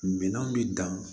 Minɛnw bɛ dan